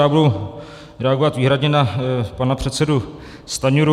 Já budu reagovat výhradně na pana předsedu Stanjuru.